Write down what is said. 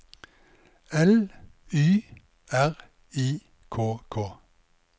L Y R I K K